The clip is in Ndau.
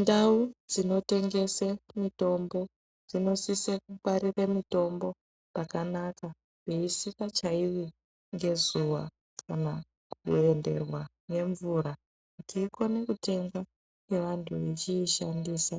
Ndau dzinotengese mitombo dzinosise kungwarire mitombo pakanaka, peisikachaiwi ngezuwa kana kuenderwa ngemvura kuti ikone kutengwa nevantu vechiishandisa